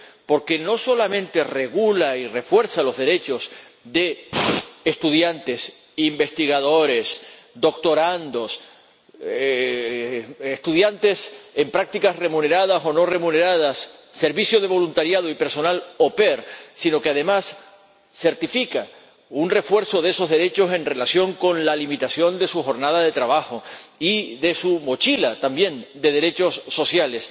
Porque no solamente regula y refuerza los derechos de estudiantes, investigadores, doctorandos, estudiantes en prácticas —remuneradas o no remuneradas—, servicio de voluntariado y personal au pair sino que además certifica un refuerzo de esos derechos en relación con la limitación de su jornada de trabajo y de su mochila también de derechos sociales.